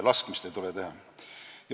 Laskmist ei tule teha.